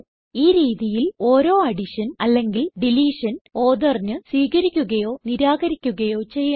ഈ രീതിയിൽ ഓരോ അഡിഷൻ അല്ലെങ്കിൽ ഡിലീഷൻ ഓത്തോർ ന് സ്വീകരിക്കുകയോ നിരാകരിക്കുകയോ ചെയ്യാം